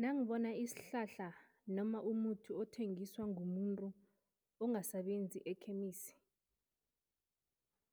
Nangibona isihlahla noma umuthi othengiswa ngumuntu ongasebenzi ekhemisi,